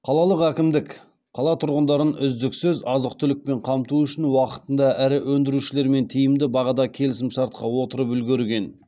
қалалық әкімдік қала тұрғындарын үздіксіз азық түлікпен қамту үшін уақытында ірі өндірушілермен тиімді бағада келісімшартқа отырып үлгерген